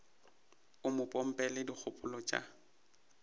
o mo pompela dikgopolo tša